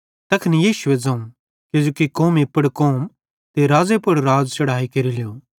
तैखन यीशुए ज़ोवं किजोकि कौमी पुड़ कौम ते राज़्ज़े पुड़ राज़ चढ़हाई केरेलू